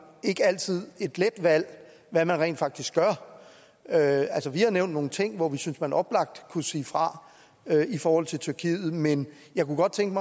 ikke altid et let valg hvad man rent faktisk gør altså vi har nævnt nogle ting hvor vi synes man oplagt kunne sige fra i forhold til tyrkiet men jeg kunne godt tænke